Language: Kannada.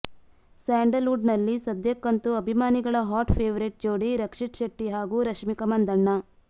ಸ್ಯಾಂಡಲ್ ವುಡ್ ನಲ್ಲಿ ಸದ್ಯಕ್ಕಂತೂ ಅಭಿಮಾನಿಗಳ ಹಾಟ್ ಫೆವರೇಟ್ ಜೋಡಿ ರಕ್ಷಿತ್ ಶೆಟ್ಟಿ ಹಾಗೂ ರಶ್ಮಿಕಾ ಮಂದಣ್ಣ